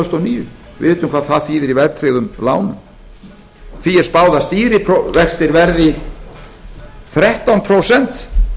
þúsund og níu við vitum hvað það þýðir í verðtryggðum lánum því er spáð að stýrivextir verði þrettán prósent